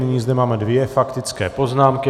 Nyní zde máme dvě faktické poznámky.